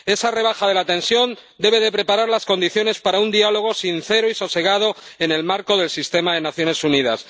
Esa rebaja de la tensión debe preparar las condiciones para un diálogo sincero y sosegado en el marco del sistema de las Naciones Unidas.